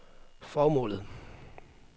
formålet